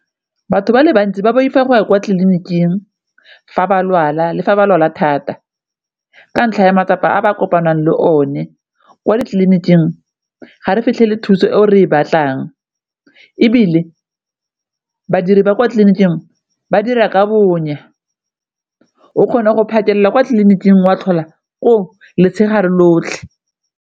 Batho ba le bantsi ba boifa go ya kwa tleliniking fa ba lwala le fa ba lwala thata, ka ntlha ya matsapa a ba kopanang le o ne kwa ditleliniking ga re fitlhele thuso e o re ba batlang, ebile badiri ba kwa tleliniking ba dira ka bonya o kgona go patela kwa tleliniking wa tlhola koo letshegare lotlhe.